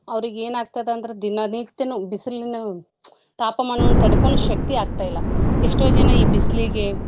ಅವ್ರೀಗ್ ಏನ್ ಆಕ್ತದ ಅಂದ್ರ ದಿನ ನಿತ್ಯನೂ ಬಿಸಿಲಿನ ತಾಪಮಾನವನ್ನು ತಡ್ಕೋನೋ ಶಕ್ತಿ ಆಗ್ತಾ ಇಲ್ಲಾ ಎಷ್ಟೋ ಜನ ಈ ಬಿಸ್ಲಿಗೆ.